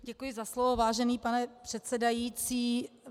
Děkuji za slovo, vážený pane předsedající.